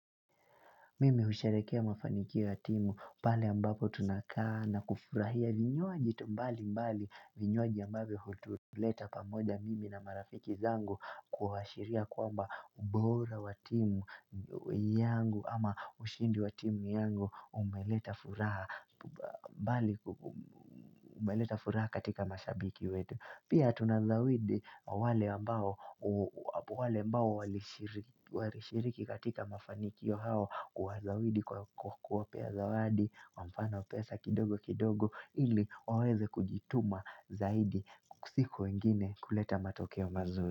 Mimi usherehekea mafanikio ya timu pale ambapo tunakaa na kufurahia vinywaji tumbali mbali vinywaji ambavyo hutuleta pamoja mimi na marafiki zangu kuhashiria kwamba ubora wa timu yangu ama ushindi wa timu yangu umeleta furaha umeleta furaha katika mashabiki wetu. Pia tunazawidi wale ambao walishiriki katika mafanikio hao Uwazawidi kwa kuwapea zawadi, kwa mfano pesa kidogo kidogo Iliwaweze kujituma zaidi siku ingine kuleta matokeo mazuri.